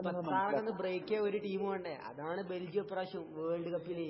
മുപ്പത്താറൊക്കെ ഒന്ന് ബ്രേക്ക് ചെയ്യാൻ ഒരു ടീം വേണ്ടേ അതാണ് ബെൽജിയം ഈ പ്രാവശ്യം വേൾഡ് കപ്പില്